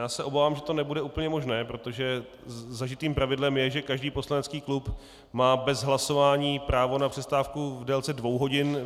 Já se obávám, že to nebude úplně možné, protože zažitým pravidlem je, že každý poslanecký klub má bez hlasování právo na přestávku v délce dvou hodin.